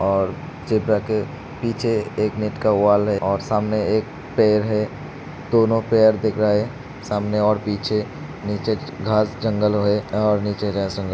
और जेब्रा के पीछे एक नेट का वॉल है और सामने एक पेड़ है दोनों पैर दिख रहे हैं सामने और पीछे नीचे घास जंगल है और नीचे --